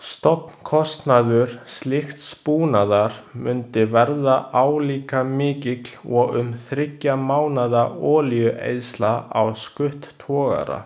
Stofnkostnaður slíks búnaðar mundi verða álíka mikill og um þriggja mánaða olíueyðsla á skuttogara.